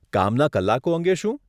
કામના કલાકો અંગે શું?